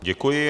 Děkuji.